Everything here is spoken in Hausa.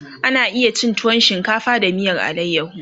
ana iya cin tuwo shinkafa da miyar alayaho